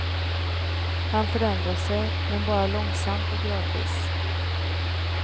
Han förändrar sig, men bara långsamt och gradvis.